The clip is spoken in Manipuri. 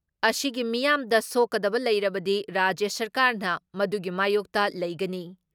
ꯑꯁꯤꯒꯤ ꯃꯤꯌꯥꯝꯗ ꯁꯣꯛꯀꯗꯕ ꯂꯩꯔꯕꯗꯤ ꯔꯥꯖ꯭ꯌ ꯁꯔꯀꯥꯔꯅ ꯃꯗꯨꯒꯤ ꯃꯥꯌꯣꯛꯇ ꯂꯩꯒꯅꯤ ꯫